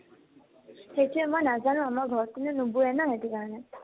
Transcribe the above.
সেইতোয়ে মই নাজানো, ঘৰ ত কোনেও নবোয়ে ন সেইতো কাৰণে ।